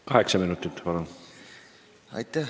Kaheksa minutit, palun!